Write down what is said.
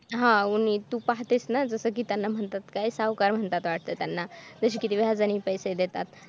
हा उन्ही जस तू पाहतेस न जस कि त्यांना म्हणतात काय सावकार म्हणतात वाटत त्यांना तसे किती व्याजाने पैसे देतात